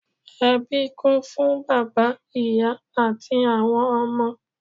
Ẹbí kún fún bàbá, ìyá àti àwọn ọmọ.